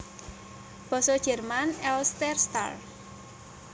Basa Jerman Elsterstar